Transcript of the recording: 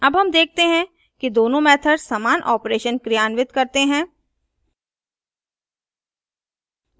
अब हम देखते हैं कि दोनों मेथड समान operation क्रियान्वित करते हैं